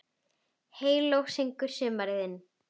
Heyló syngur sumarið inn